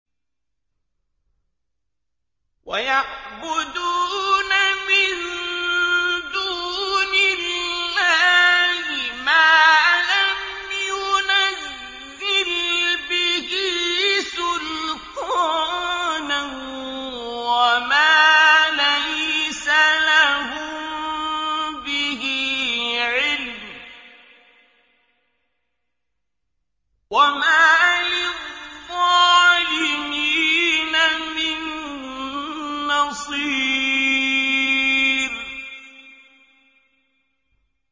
وَيَعْبُدُونَ مِن دُونِ اللَّهِ مَا لَمْ يُنَزِّلْ بِهِ سُلْطَانًا وَمَا لَيْسَ لَهُم بِهِ عِلْمٌ ۗ وَمَا لِلظَّالِمِينَ مِن نَّصِيرٍ